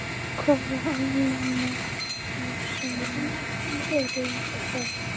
Hvaða almannahagsmunir eru það?